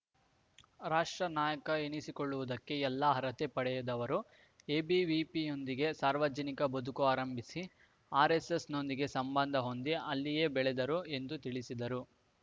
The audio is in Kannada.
ರಾಷ್ಟ್ರ ನಾಯಕ ಎನಿಸಿಕೊಳ್ಳುವುದಕ್ಕೆ ಎಲ್ಲ ಅರ್ಹತೆ ಪಡೆದವರು ಎವಿಬಿಪಿಯೊಂದಿಗೆ ಸಾರ್ವಜನಿಕ ಬದುಕು ಆರಂಭಿಸಿ ಆರ್‌ಎಸ್‌ಎಸ್‌ನೊಂದಿಗೆ ಸಂಬಂಧ ಹೊಂದಿ ಅಲ್ಲಿಯೇ ಬೆಳೆದರು ಎಂದು ತಿಳಿಸಿದರು